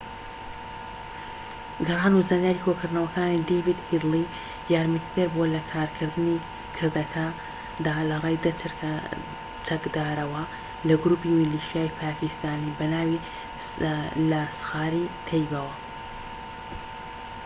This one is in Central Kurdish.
گەڕان و زانیاری کۆکردنەوەکانی دەیڤد هیدلی یارمەتیدەر بووە لەکردنی کردەکەدا لەڕێی ١٠ چەکدارەوە لە گروپی میلیشیای پاکیستانی بەناوی لاسخار-ی-تەیبە